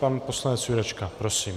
Pan poslanec Jurečka, prosím.